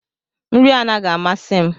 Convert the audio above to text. Nri anaghị amasị m.